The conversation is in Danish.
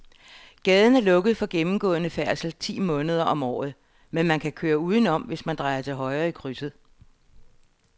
Gaden er lukket for gennemgående færdsel ti måneder om året, men man kan køre udenom, hvis man drejer til højre i krydset.